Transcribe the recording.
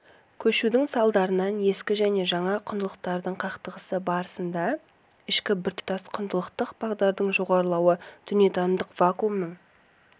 көшудің салдарынан ескі және жаңа құндылықтардың қақтығысы барысында ішкі біртұтас құндылықтық бағдардың жоғалуы дүниетанымдық вакуумның